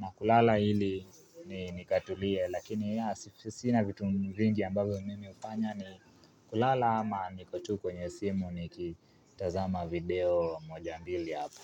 na kulala ili ni nikatulie. Lakini ya sinasina vitu vingi ambavyo mimi ufanya ni kulala ama niko tu kwenye simu niki tazama video moja mbili hapa.